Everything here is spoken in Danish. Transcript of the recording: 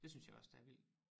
Det synes jeg også der er vild